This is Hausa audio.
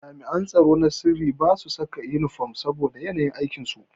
Jami'an tsaro na sirri basu saka inifom saboda yanayin aikin su.